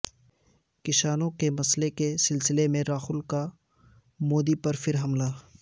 کسانوں کے مسئلے کے سلسلے میں راہل کا مودی پر پھر حملہ